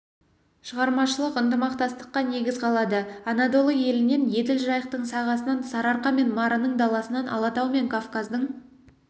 шығармашылық ынтымақтастыққа негіз қалады анадолы елінен еділ-жайықтың сағасынан сарыарқа мен марының даласынан алатау мен кавказдың